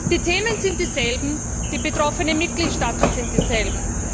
Die Themen sind dieselben, die betroffenen Mitgliedstaaten sind dieselben.